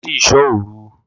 Lọ sí ìṣò òru!